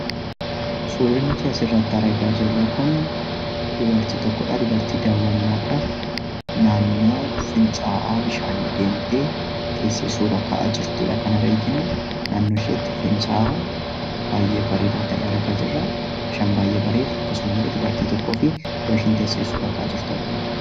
Suurri nuti asirratti argaa jirru kun dubartii tokko dha. Dubartii daawwannaadhaaf naannoo fincaa'aa bishaanii deemtee teessee suuraa ka'aa jirtu dha kan arginu. Naannoo isheetti fincaa'aa baay'ee bareedaa ta'e argaa jirra. Bishaan baay'ee bareedu akkasuma illee dubartii tokkoo fi iddoo isheen teessee suuraa ka'aa jirtu argina.